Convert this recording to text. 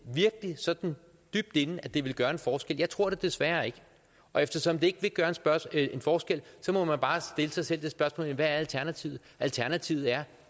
virkelig sådan dybt inde at det ville gøre en forskel jeg tror det desværre ikke og eftersom det ikke vil gøre en forskel må man bare stille sig selv det spørgsmål hvad er alternativet alternativet er